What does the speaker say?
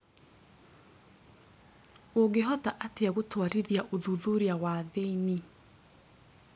Ũngĩhota atĩa gũtwarithia ũthuthuria wa thĩinĩ?